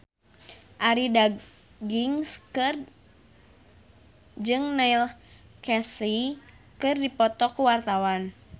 Arie Daginks jeung Neil Casey keur dipoto ku wartawan